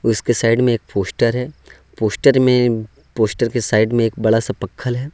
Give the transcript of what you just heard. उसके साइड में एक पोस्टर है पोस्टर में पोस्टर के साइड में एक बड़ा सा पखल है।